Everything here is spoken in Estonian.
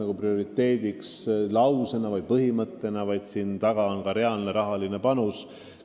Ja seda mitte ainult põhimõttena ja sõnades, vaid tegu on ka reaalse rahapanusega.